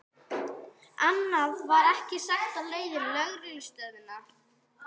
Annað var ekki sagt á leiðinni á lögreglustöðina.